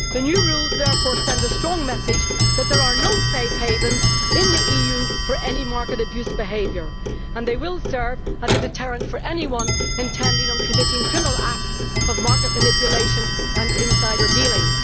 The new rules therefore send a strong message that there are no safe havens in the EU for any market abuse behaviour, and they will serve as a deterrent for anyone intending to commit criminal acts of market manipulation and insider dealing.